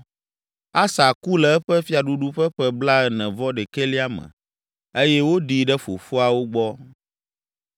Asa ku le eƒe fiaɖuɖu ƒe ƒe blaene-vɔ-ɖekɛlia me eye woɖii ɖe fofoawo gbɔ.